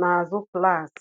n'azụ klaasị.